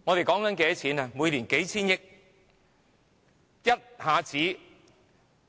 基建工程一下子要